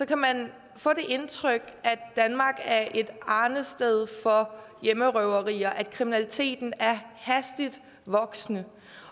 kan man få det indtryk at danmark er et arnested for hjemmerøverier at kriminaliteten er hastigt voksende